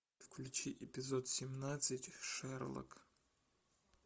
включи эпизод семнадцать шерлок